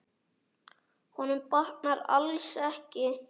Honum batnar alls ekki.